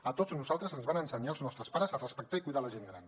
a tots nosaltres ens van ensenyar els nostres pares a respectar i cuidar la gent gran